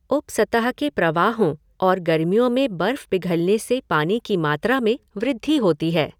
उपसतह के प्रवाहों और गर्मियों में बर्फ़ पिघलने से पानी की मात्रा में वृद्धि होती है।